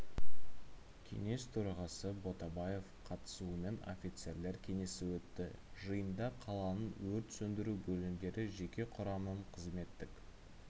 кеңес төрағасы ботабаев қатысуымен офицерлер кеңесі өтті жиында қаланың өрт сөндіру бөлімдері жеке құрамының қызметтік